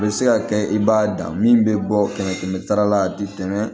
A bɛ se ka kɛ i b'a dan min bɛ bɔ kɛmɛ kɛmɛ sara la a tɛ tɛmɛ